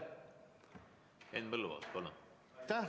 Henn Põlluaas, palun!